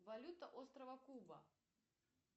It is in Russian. валюта острова куба